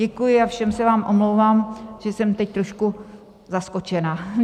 Děkuji a všem se vám omlouvám, že jsem teď trošku zaskočena.